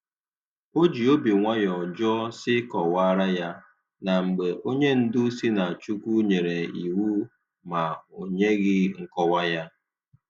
O ji obi nwayọ jụọ sị kọwara ya, na mgbe onye ndu sị na Chukwu nyere iwu ma o nyeghị nkọwa ya